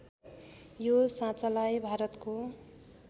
यो साँचालाई भारतको